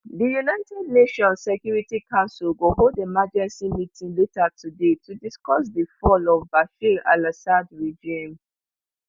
di united nations security council go hold emergency meeting later today to discuss di fall of bashar alassads regime